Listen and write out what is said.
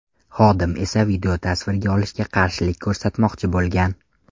Xodim esa videotasvirga olishiga qarshilik ko‘rsatmoqchi bo‘lgan.